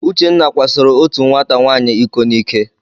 Uchenna kwasoro otu nwata nwaanyị iko n'ike.